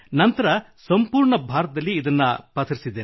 ನಂತರ ಸಂಪೂರ್ಣ ಭಾರತದಲ್ಲಿ ಇದನ್ನು ಪಸರಿಸಿದೆ